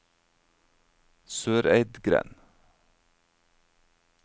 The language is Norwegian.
Søreidgrend